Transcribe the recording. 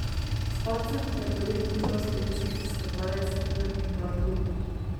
S padcem je polet končal slovenski skakalec Tilen Bartol.